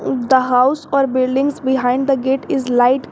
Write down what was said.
The house or buildings behind the gate is light.